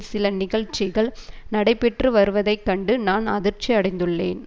சில நிகழ்ச்சிகள் நடைபெற்று வருவதைக்கண்டு நான் அதிர்ச்சி அடைந்துள்ளேன்